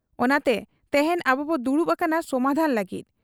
ᱚᱱᱟᱛᱮ ᱛᱮᱦᱮᱧ ᱟᱵᱚᱵᱚ ᱫᱩᱲᱩᱵ ᱟᱠᱟᱱᱟ ᱥᱚᱢᱟᱫᱷᱟᱱ ᱞᱟᱹᱜᱤᱫ ᱾